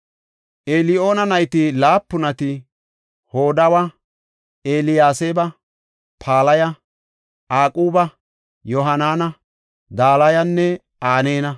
Eliyo7ana nayti laapunati Hodawa, Eliyaseeba, Palaya, Aquba, Yohaanana, Dalayanne Aneena.